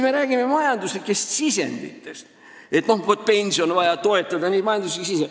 Me räägime siin majanduslikest sisenditest, et pensionisüsteemi on vaja toetada jne.